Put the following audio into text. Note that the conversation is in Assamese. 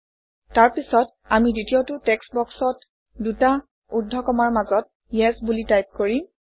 তাৰপিছত আমি দ্বিতীয়টো টেক্সট্ বক্সত দুটা ঊৰ্ধ্বকমাৰ মাজত ইএছ বুলি টাইপ কৰিম